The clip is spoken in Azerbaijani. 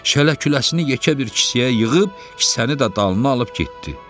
Şələ-küləsini yekə bir kisəyə yığıb, kisəni də dalına alıb getdi.